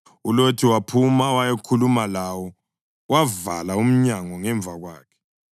ULothi waphuma wayakhuluma lawo wavala umnyango ngemva kwakhe,